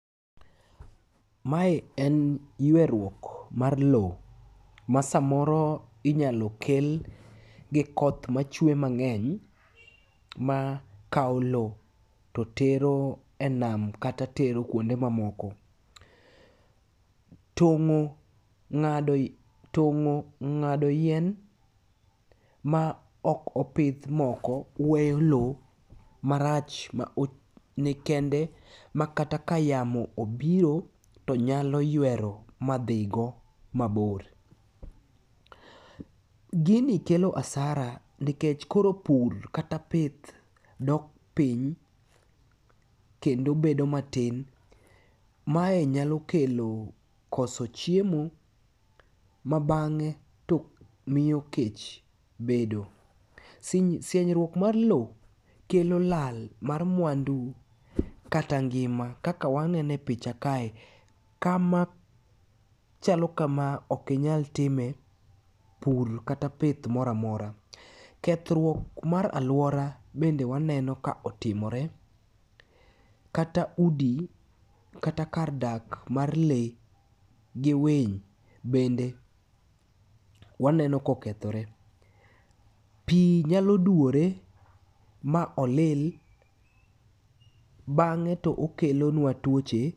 Mae en yweruok mar lowo ma samoro inyalo kel gi koth machwe mang'eny ma kawo lowo to tero enam kata tero kuonde mamoko. Tong'o, ng'ado, tong'o, ng'ado yien ma ok opidh moko weyo lowo marach ma ni kende, ma kata ka yamo obiro to nyalo ywero ma dhi go mabor. Gini kelo hasara, nikech koro pur kata pith dok piny kendo bedo matin. Mae nyalo kelo koso chiemo, mabang'e to miyo kech bedo. Sienyruok mar lowo kelo lal mar mwandu kata ngima. Kaka waneno e picha kae, kama chalo kama ok inyalo time pur kata pith moro amora. Kethruok mar alwora bende waneno ka otimore kata udi, kata kar dak mar lee gi winy bende waneno ka okethore. Pi nyalo duwore ma olil, bang'e to okelonwa twoche.